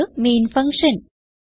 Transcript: ഇത് main function